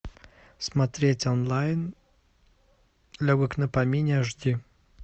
смотреть онлайн легок на помине аш ди